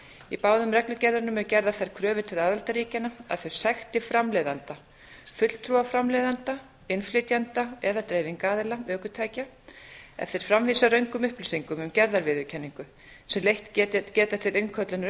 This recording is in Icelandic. í báðum reglugerðunum eru gerðar þær kröfur til aðildarríkjanna að þau sekti framleiðanda fulltrúa framleiðanda innflytjanda eða dreifingaraðila ökutækja ef þeir framvísa röngum upplýsingum um gerðarviðurkenningu sem leitt geta til innköllunar